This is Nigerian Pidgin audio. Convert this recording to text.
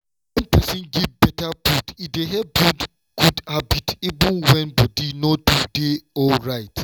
wen person give better food e dey help build good habit even when body no too dey dey alright.